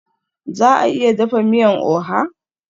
Za a iya dafa miyan oha?